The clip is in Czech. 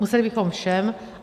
Museli bychom všem.